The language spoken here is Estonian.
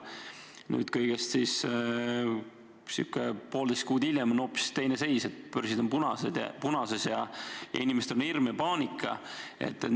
Nüüd, kõigest poolteist kuud hiljem, on hoopis teine seis: börsid on punases ja inimestel on hirm ja paanika.